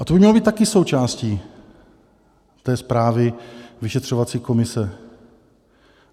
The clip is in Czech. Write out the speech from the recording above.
A to by mělo být taky součástí té zprávy vyšetřovací komise.